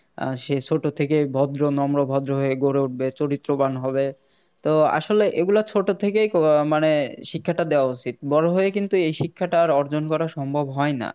সে ছোট থেকেই ভদ্র নম্র ভদ্র হয়ে গড়ে উঠবে চরিত্রবান হবে তো আসলে এগুলা ছোট থেকেই মানে শিক্ষাটা দেওয়া উচিত বড়ো হয়ে কিন্তু এই শিক্ষাটা আর অর্জন করা সম্ভব হয় না